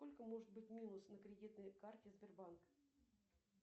сколько может быть минус на кредитной карте сбербанк